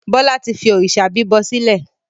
Bọlá tí fi òrìṣà bíbọ sílẹ̀.